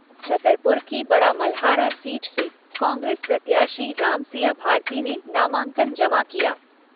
छतरपुर की बड़ामलहारा सीट से कांग्रेस प्रत्याशी रामसिया भारती ने नामांकन जमा किया।